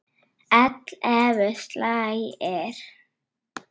Ellefu slagir.